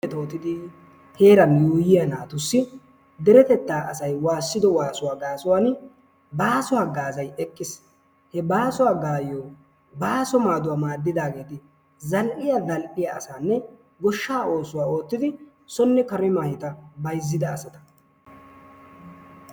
Mettottidi heeran yuuyiyaa naatussi deretettaa asay waassido waasuwaa gasuwaan baaso haggazay eqqiis. He baaso haggazaa basso maaduwaa maaddidageeti zal"iyaa zal"iyaa asanne goshshaa ossuwaa oottidi soone kare ossuwaa ottidaageeta.